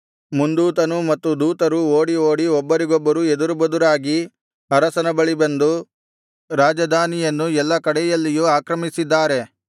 ಮುಂದೂತನು ಮತ್ತು ದೂತರೂ ಓಡಿ ಓಡಿ ಒಬ್ಬರಿಗೊಬ್ಬರು ಎದುರುಬದುರಾಗಿ ಅರಸನ ಬಳಿ ಬಂದು ರಾಜಧಾನಿಯನ್ನು ಎಲ್ಲಾ ಕಡೆಯಲ್ಲಿಯೂ ಆಕ್ರಮಿಸಿದ್ದಾರೆ